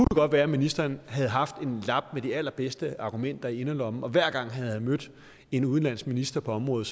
godt være at ministeren havde haft en lap med de allerbedste argumenter i inderlommen og hver gang han havde mødt en udenlandsk minister på området